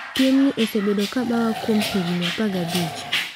"Piemni osebedo ka bawa kuom higni 15."